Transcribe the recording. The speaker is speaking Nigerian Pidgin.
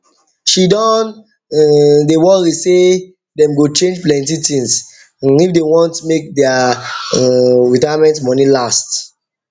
she don um dey worry say worry say them go change plenty things um if they want make um their retirement money last